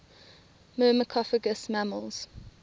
myrmecophagous mammals